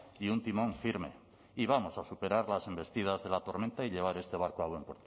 y un timón firme y vamos a superar las embestidas de la tormenta y llevar este barco a buen